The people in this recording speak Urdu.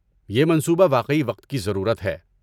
یہ منصوبہ واقعی وقت کی ضرورت ہے۔